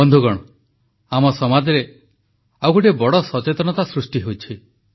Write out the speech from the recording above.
ବନ୍ଧୁଗଣ ଆମ ସମାଜରେ ଆଉ ଗୋଟିଏ ବଡ଼ ସଚେତନତା ସୃଷ୍ଟି ହୋଇଛି